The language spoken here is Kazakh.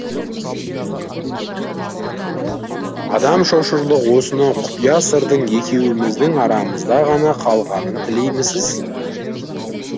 адам шошырлық осынау құпия сырдың екеуіміздің арамызда ғана қалғанын тілеймісіз